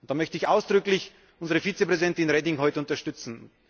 Und da möchte ich ausdrücklich unsere Vizepräsidentin Reding heute unterstützen.